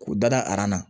K'u da na